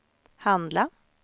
handla